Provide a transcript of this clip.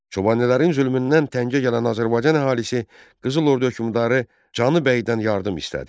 Çobanilərin zülmündən təngə gələn Azərbaycan əhalisi Qızıl ordu hökmdarı Canı Bəydən yardım istədi.